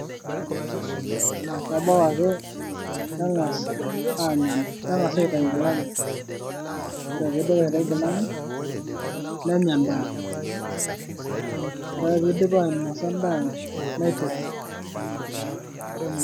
kebau ake neng'as anya , neng'as aitei ng'ilani. Kore pee eidip aitei ng'lani nenya endaa. Kore pee eidip ainosa endaa neetun.